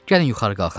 Gəlin yuxarı qalxaq.